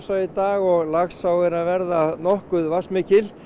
í dag og Laxá er að verða nokkuð vatnsmikil